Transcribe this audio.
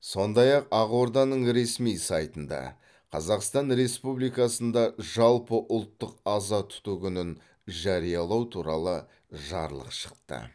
сондай ақ ақорданың ресми сайтында қазақстан республикасында жалпыұлттық аза тұту күнін жариялау туралы жарлық шықты